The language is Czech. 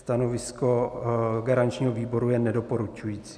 Stanovisko garančního výboru je nedoporučující.